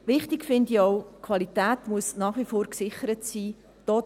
Wichtig finde ich auch, dass die Qualität nach wie vor gesichert sein muss.